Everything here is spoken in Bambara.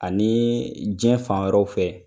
Ani diɲɛ fan wɛrɛw fɛ